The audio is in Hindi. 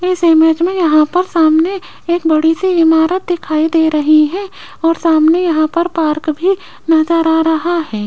इस इमेज में यहां पर सामने एक बड़ी से इमारत दिखाई दे रही है और सामने यहां पर पार्क भी नजर आ रहा है।